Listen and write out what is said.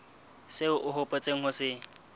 seo o hopotseng ho se